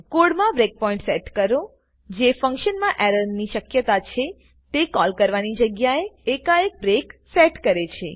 કોડમાં breakpoint set કરો જે ફંક્શન માં એરર ની શક્યતા છે તે કોલ કરવાની જગ્યા એ એકાએક બ્રેક સેટ કરે છે